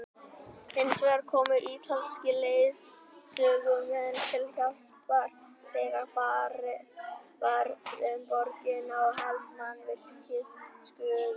Hinsvegar komu ítalskir leiðsögumenn til hjálpar þegar farið var um borgina og helstu mannvirki skoðuð.